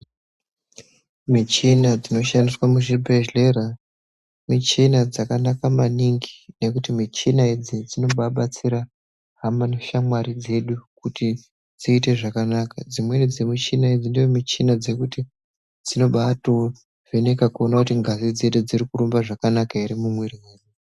Michina dzinoshandiswa muzvibhedhlera , michina dzakanaka maningi, nekuti michina idzi dzinobabatsira hhama neshamwari dzedukuti dzite zvakanaka. Dzimweni dzemuchina idzi ndodzimichina dzokuti dzinobato vheneka kuti ngazi dzedu dzirukurumba zvakanaka here mumwiri.